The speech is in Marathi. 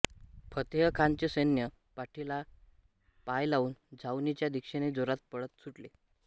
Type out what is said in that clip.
फतेहखानचे सैन्य पाठीला पाय लावून छावणीच्या दिशेने जोरात पळत सुटले